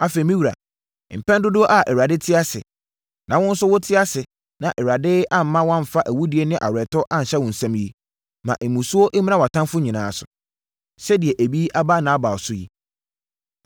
Afei, me wura, mpɛn dodoɔ a Awurade te ase, na wo nso wote ase na Awurade amma woamfa awudie ne aweretɔ anhyɛ wo nsam yi, ma mmusuo mmra wʼatamfoɔ nyinaa so, sɛdeɛ ebi aba Nabal so yi.